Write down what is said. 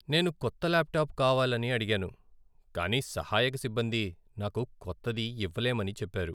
నేను కొత్త ల్యాప్టాప్ కావాలని అడిగాను, కానీ సహాయక సిబ్బంది నాకు కొత్తది ఇవ్వలేమని చెప్పారు.